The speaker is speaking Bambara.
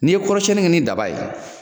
Ni ye kɔrɔsiyɛnni kɛ ni daba ye